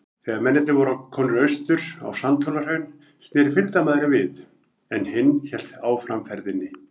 Þegar mennirnir voru komnir austur á Sandhólahraun, sneri fylgdarmaðurinn við, en hinn hélt áfram ferðinni.